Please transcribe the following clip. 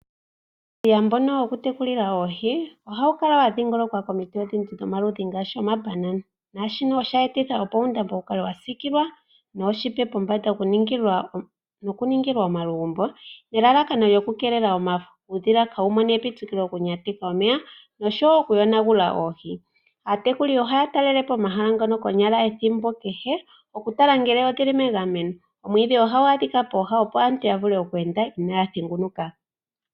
Uudhiya mbono woku tekulila oohi ohawu kala wadhingolokwa komiti odhindji dhomaludhi ngaashi omabanana nashika osha etitha opo uundambo wu kale wa sikilwa nooshipe pombanda noku ningilwa omalugumbo nelalakano oku keelela omafo, uudhila opo kaawu mone epitikilo lyokunyateka omeya noshowo oku yonagula oohi. Aatekuli ohaya talele po omahala ngano konyala ethimbo kehe ya tale ngele oohi odhili megameno. Omwiidhi ohagu adhika pooha opo aantu ya vule oku enda inaaya thengunuka.